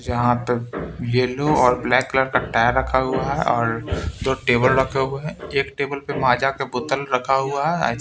जहाँ पे येलो और ब्लैक कलर का टायर रखा हुआ है और दो टेबल रखे हुये हैं एक टेबल पे माजा के बोतल रखा हुआ है --